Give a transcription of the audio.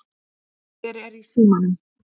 Hver er í símanum?